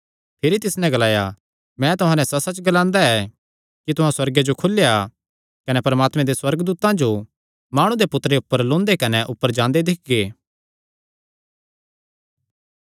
भिरी तिस नैं ग्लाया मैं तुहां नैं सच्चसच्च ग्लांदा ऐ कि तुहां सुअर्गे जो खुलेया कने परमात्मे दे सुअर्गदूतां जो माणु दे पुत्तरे ऊपर लौंदे कने ऊपर जांदे दिक्खगे